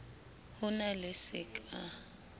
ho na le se ka